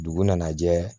Dugu nana jɛ